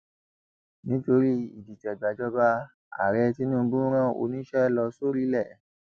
nítorí ìdìtẹgbàjọba ààrẹ tinubu rán oníṣẹ lọ sórílẹ